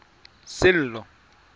sello